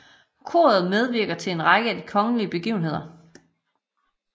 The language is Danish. Koret medvirker til en række af de kongelige begivenheder